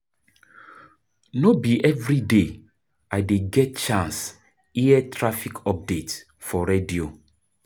No be everyday I dey get chance hear traffic update for radio.